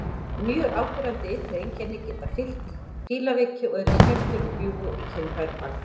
Mjög áberandi ytri einkenni geta fylgt fílaveiki og eru skemmdir og bjúgur í kynfærum algengar.